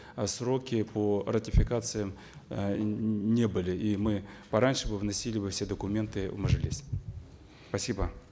э сроки по ратификациям э не были и мы пораньше бы вносили бы все документы в мажилис спасибо